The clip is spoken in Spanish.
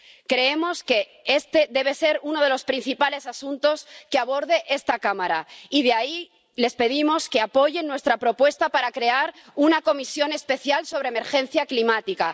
Creemos que este debe ser uno de los principales asuntos que aborde esta Cámara y por eso les pedimos que apoyen nuestra propuesta de crear una comisión especial sobre emergencia climática.